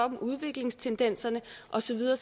dem udviklingstendenserne og så videre